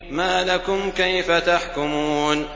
مَا لَكُمْ كَيْفَ تَحْكُمُونَ